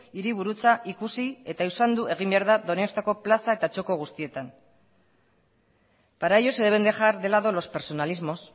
hiriburutza ikusi eta usaindu egin behar da donostiako plaza eta txoko guztietan para ello se deben dejar de lado los personalismos